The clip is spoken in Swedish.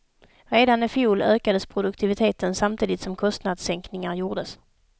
Redan ifjol ökades produktiviteten samtidigt som kostnadsänkningar gjordes.